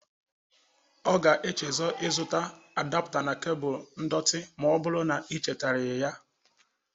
Ọ ga-echezo ịzụta adọpta na kebụl ndọtị ma ọ bụrụ na i chetaraghi ya.